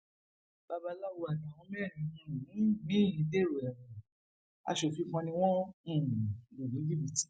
babaláwo àtàwọn mẹrin um míín dèrò ẹwọn asòfin kan ni wọn um lù ní jìbìtì